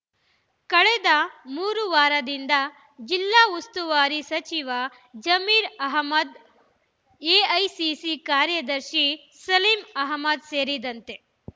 ಕಳೆದ ಮೂರು ವಾರದಿಂದ ಜಿಲ್ಲಾ ಉಸ್ತುವಾರಿ ಸಚಿವ ಜಮೀರ್ ಅಹ್ಮದ್ ಎಐಸಿಸಿ ಕಾರ್ಯದರ್ಶಿ ಸಲೀಂ ಅಹ್ಮದ್ ಸೇರಿದಂತೆ